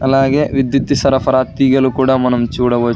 అలాగే విద్యుత్తు సరఫరా తీగలు కూడా మనం చూడవ--